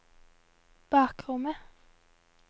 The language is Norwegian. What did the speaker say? bakrommet